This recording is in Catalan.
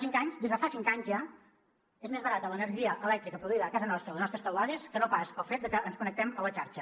clar des de fa cinc anys ja és més barata l’energia elèctrica produïda a casa nostra a les nostres teulades que no pas el fet de que ens connectem a la xarxa